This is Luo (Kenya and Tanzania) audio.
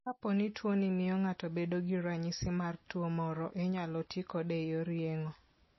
Kapo ni tuwono miyo ng'ato bedo gi ranyisi mar tuwo moro, inyalo ti kode e yor yeng'o.